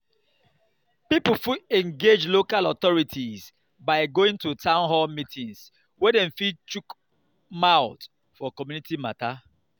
pipo fit engage local authorities by going to town hall meetings where dem fit chook mouth for community matter